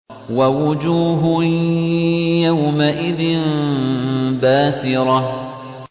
وَوُجُوهٌ يَوْمَئِذٍ بَاسِرَةٌ